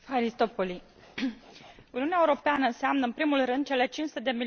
Uniunea Europeană înseamnă în primul rând cele 500 de milioane de cetățeni europeni.